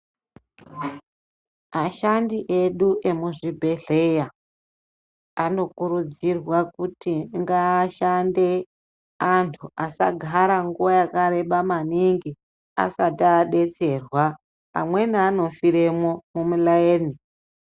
Ashandi edu emezvibhedhleya anokurudzirwa kuti ngaashande anthu asagara nguwa yakareba maningi asati adetserwa amweni anofiremwo mumulayeni